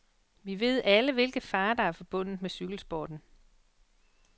Vi ved alle, hvilke farer der er forbundet med cykelsporten.